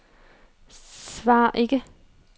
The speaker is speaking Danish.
svar ikke